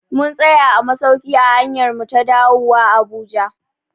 Mun tsaya a masauki a hanyarmu ta dawuwa a Abuja